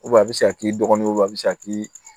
a bɛ se ka k'i dɔgɔninw wa a bɛ se ka k'i